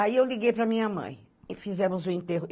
Aí eu liguei para a minha mãe e fizemos o enterro.